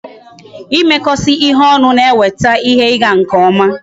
Ịmekọsị ihe ọnụ na eweta ihe ị ga nke ọma